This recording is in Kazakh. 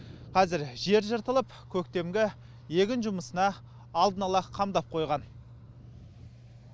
қазір жер жыртылып көктемгі егін жұмысына алдын ала қамдап қойған